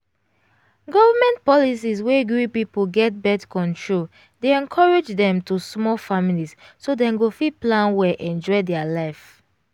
government policy wey gree pipo get birth-control dey encourage dem to small families so dem go fit plan well enjoy their life